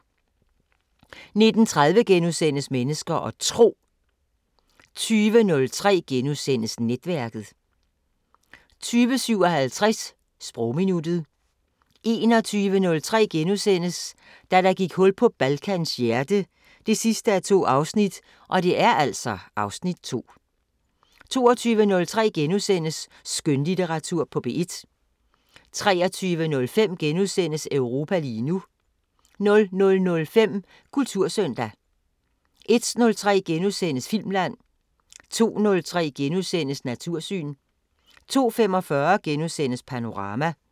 19:30: Mennesker og Tro * 20:03: Netværket * 20:57: Sprogminuttet 21:03: Da der gik hul på Balkans hjerte 2:2 (Afs. 2)* 22:03: Skønlitteratur på P1 * 23:05: Europa lige nu * 00:05: Kultursøndag * 01:03: Filmland * 02:03: Natursyn * 02:45: Panorama *